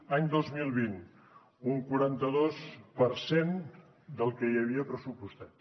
any dos mil vint un quaranta dos per cent del que hi havia pressupostat